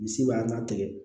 Misi b'a latigɛ